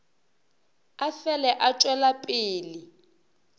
a fele a tšwela pele